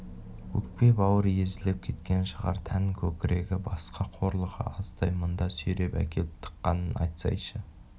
өкпе-бауыры езіліп кеткен шығар тән көкірегі басқа қорлығы аздай мұнда сүйреп әкеліп тыққанын айтсайшы